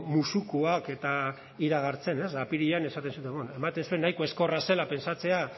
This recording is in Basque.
musukoak eta iragartzen ez ba apirilean esaten zena bueno ematen zuen nahiko ezkorra zela pentsatzea